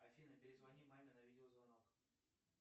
афина перезвони маме на видеозвонок